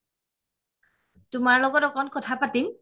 তোমাৰ লগত অকন কথা পাতিম